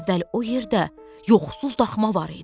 Əvvəl o yerdə yoxsul daxma var idi.